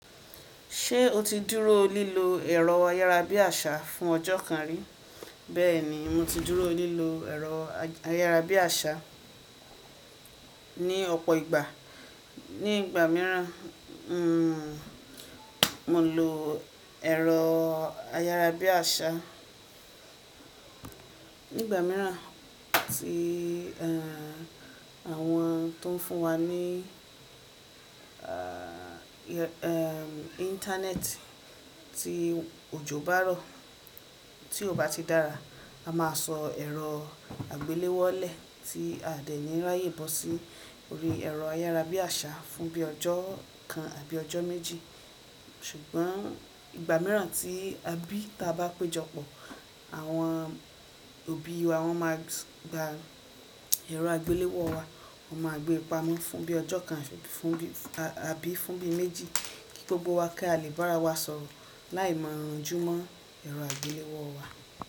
Ṣé o ti dúró lílo ẹ̀rọ ayárabíàṣá fún ọjọ́ kan rí? Bẹ́ẹ̀ni, mo ti dúró lílo ẹ̀rọ ayárabíàṣá ní ọ̀pọ̀ ìgbà. Ní ìgbà míràn, n o lo ẹ̀rọ ayárabíàṣá nígbà míràn tí àwọn tó ń fún wa ní íńtánẹ́ẹ̀tì tí òjò bá rọ, tí kò bá ti dára, a máa sọ ẹ̀rọ àgbéléwọ́ lẹ̀ tí a dẹ̀ ní ráyè bó sí orí ẹ̀rọ ayárabíàṣá fún bí i ọjọ́ kan àbí ọjọ́ méjì. Ṣùgbọ́n ìgbà míràn tí abí ta bá péjọpọ̀, àwọn òbí wa máa gba ẹ̀rọ àgbéléwọ̀ wa, wọ́n máa gbé pamọ́ fún bí i ọjọ́ kan àbí fún bí i méjì, kí gbogbo wa kí a lè bá ara wa sọ̀rọ̀ láì ma ranjú mọ́ ẹ̀rọ àgbéléwọ̀ wa.